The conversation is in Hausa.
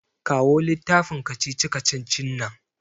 Kawo littafin kacici-kacicin nan.